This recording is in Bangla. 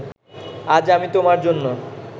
আজ আমি তোমার জন্যে